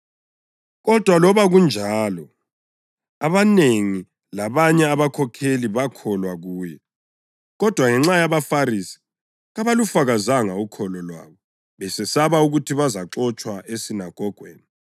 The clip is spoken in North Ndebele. Kodwa loba kunjalo, abanengi labanye abakhokheli bakholwa kuye. Kodwa ngenxa yabaFarisi kabalufakazanga ukholo lwabo besesaba ukuthi bazaxotshwa esinagogweni;